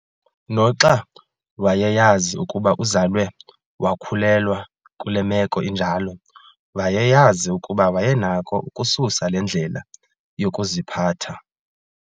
Noxa wayeyazi ukuba uzalwe wakhulelwa kule meko injalo, wayeyazi ukuba wayenako ukususa le ndlela yokuziphatha